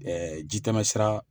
jitɛmɛsira